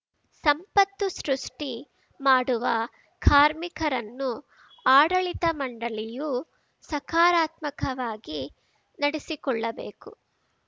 ಸಂಪತ್ತು ಸೃಷ್ಟಿ ಮಾಡುವ ಕಾರ್ಮಿಕರನ್ನು ಆಡಳಿತ ಮಂಡಳಿಯು ಸಕಾರಾತ್ಮಕವಾಗಿ ನಡೆಸಿಕೊಳ್ಳಬೇಕು